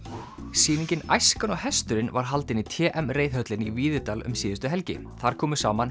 sýningin æskan og hesturinn var haldin í t m reiðhöllinni í Víðidal um síðustu helgi þar komu saman